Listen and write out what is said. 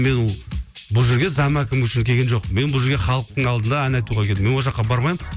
мен бұл жерге зам әкім үшін келген жоқпын мен бұл жерге халықтың алдында ән айтуға келдім мен ол жаққа бармаймын